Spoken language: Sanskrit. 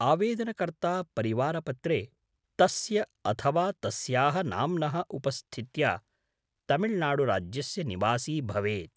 आवेदनकर्ता परिवारपत्रे तस्य अथवा तस्याः नाम्नः उपस्थित्या तमिल्नाडुराज्यस्य निवासी भवेत्।